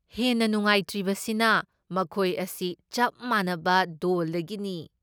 ꯍꯦꯟꯅ ꯅꯨꯡꯉꯥꯏꯇ꯭ꯔꯤꯕꯁꯤꯅ ꯃꯈꯣꯏ ꯑꯁꯤ ꯆꯞ ꯃꯥꯟꯅꯕ ꯗꯣꯜꯗꯒꯤꯅꯤ ꯫